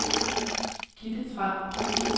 Gitte Tran